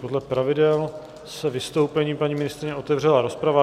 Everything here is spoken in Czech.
Podle pravidel se vystoupením paní ministryně otevřela rozprava.